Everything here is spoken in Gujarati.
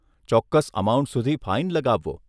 ચોક્કસ અમાઉન્ટ સુધી ફાઇન લગાવવો.